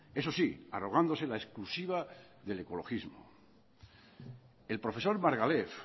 eso sí arrogándose la exclusiva del ecologismo el profesor margalef